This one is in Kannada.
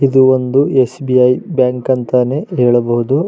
ಇದು ಒಂದು ಎಸ್.ಬಿ.ಐ ಬ್ಯಾಂಕ್ ಅಂತಾನೆ ಹೇಳಬಹುದು.